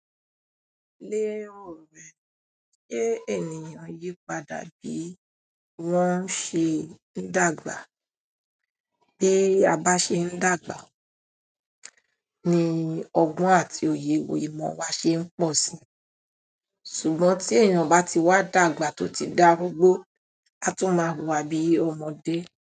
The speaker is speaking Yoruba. Lé èrò rẹ̀, se ènìyàn yípadà bí wọ́n ṣe ń dàgbà. Pe a bá ṣe ń dàgbà, ní ọgbọ́n àti òye, ìmọ̀ wa ṣe ń pọ̀ sí. Ṣùgbọ́n tí ènìyàn bá ti wá dàgbà tó ti dárúgbó, a tún máa wùwà bí ọmọdé.